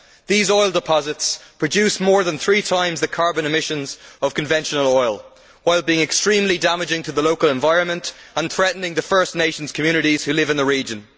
These oil deposits produce more than three times the carbon emissions of conventional oil and their exploitation is also extremely damaging to the local environment and a threat to the First Nations communities who live in the region.